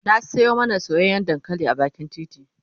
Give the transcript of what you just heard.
na Sayo mana soyayyan dankali a bakin titi